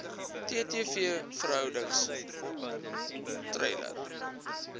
ttv verhoudings treiler